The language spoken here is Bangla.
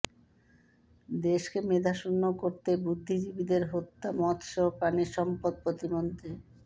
দেশকে মেধাশূন্য করতেই বুদ্ধিজীবীদের হত্যা মৎস্য ও প্রাণিসম্পদ প্রতিমন্ত্রী